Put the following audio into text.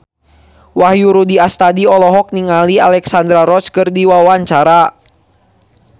Wahyu Rudi Astadi olohok ningali Alexandra Roach keur diwawancara